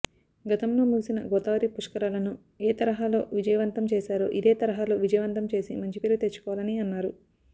గతంలో ముగిసిన గోదావరి పుష్కరాళ్ళను ఏ తరహలో విజయవంతం చేశారో ఇదే తరహలో విజయవంతం చేసి మంచిపేరు తెచ్చుకోవాలని అన్నారు